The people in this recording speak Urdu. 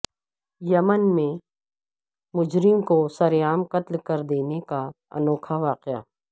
یمن میں مجرم کو سرعام قتل کردینے کا انوکھا واقعہ